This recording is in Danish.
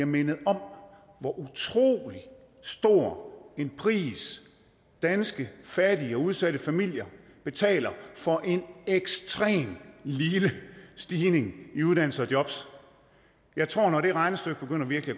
mindet om hvor utrolig stor en pris danske fattige og udsatte familier betaler for en ekstremt lille stigning i uddannelse og jobs jeg tror at når det regnestykke virkelig